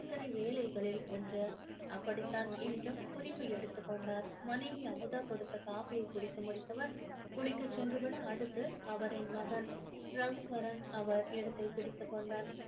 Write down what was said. தினசரி வேலைகளில் ஒன்று அப்படிதான் இன்றும் குறிப்பு எடுத்து கொண்டார் மனைவி அமுதா கொடுத்த காபியை குடித்து முடித்தவர் குளிக்க சென்று விட அடுத்து அவரின் மகன் ரகுவரன் அவர் இடத்தை பிடித்துக் கொண்டான்